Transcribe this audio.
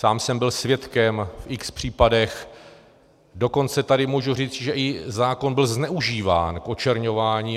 Sám jsem byl svědkem v x případech, dokonce tady můžu říct, že i zákon byl zneužíván k očerňování.